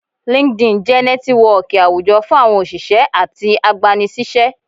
LinkedIn jẹ nẹtiwọọki awújọ fún àwọn oṣiṣẹ atí agbánisiṣẹ.